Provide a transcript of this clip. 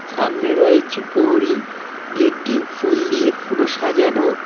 সামনে রয়েছে পহরি গেটটি ফুল দিয়ে পুরো সাজানো।